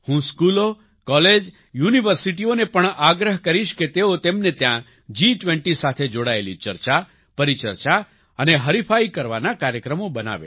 હું સ્કૂલો કોલેજ યુનિવર્સિટિઓને પણ આગ્રહ કરીશ કે તેઓ તેમને ત્યાં જી20 સાથે જોડાયેલી ચર્ચા પરિચર્ચા અને હરિફાઈ કરવાના કાર્યક્રમો બનાવે